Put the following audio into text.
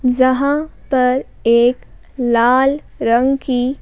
जहां पर एक लाल रंग की--